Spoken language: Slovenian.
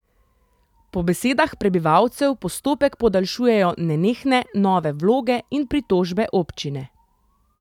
Po besedah prebivalcev postopek podaljšujejo nenehne nove vloge in pritožbe občine.